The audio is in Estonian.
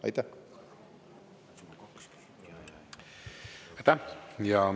Aitäh!